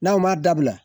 N'aw ma dabila